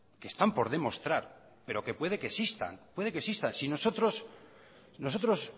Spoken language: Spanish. que están por demostrar pero que puede que existan si nosotros